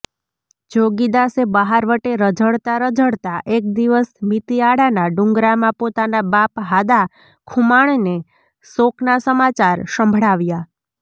જોગીદાસે બહારવટે રઝળતાં રઝળતાં એક દિવસ મીતીઆળાના ડુંગરામાં પોતાના બાપ હાદા ખુમાણને શોકના સમાચાર સંભળાવ્યા